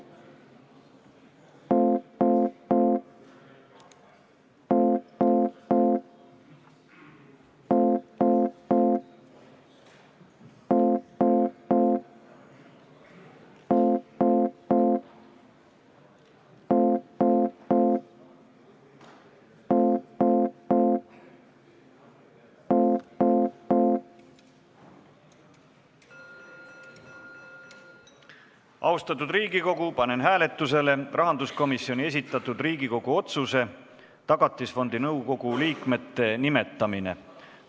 Austatud Riigikogu, panen hääletusele rahanduskomisjoni esitatud Riigikogu otsuse "Tagatisfondi nõukogu liikmete nimetamine" eelnõu.